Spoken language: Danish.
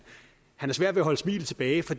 har svært ved at holde smilet tilbage for